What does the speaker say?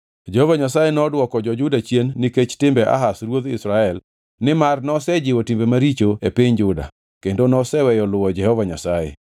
Jehova Nyasaye nodwoko jo-Juda chien nikech timbe Ahaz ruodh Israel nimar nosejiwo timbe maricho e piny Juda, kendo noseweyo luwo Jehova Nyasaye.